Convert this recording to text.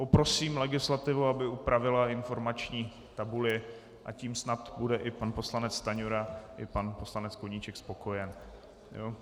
Poprosím legislativu, aby upravila informační tabuli, a tím snad bude i pan poslanec Stanjura i pan poslanec Koníček spokojen.